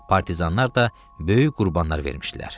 Partizanlar da böyük qurbanlar vermişdilər.